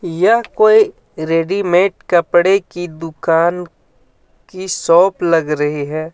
यह कोई रेडीमेड कपड़े की दुकान की शॉप लग रही है.